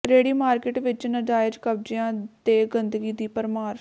ਰੇਹੜੀ ਮਾਰਕੀਟ ਵਿੱਚ ਨਾਜਾਇਜ਼ ਕਬਜ਼ਿਆਂ ਤੇ ਗੰਦਗੀ ਦੀ ਭਰਮਾਰ